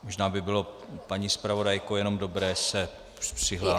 Možná by bylo, paní zpravodajko, jenom dobré se přihlásit.